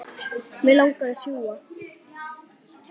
Mig langar að sjúga.